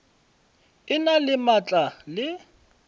e na le maatla le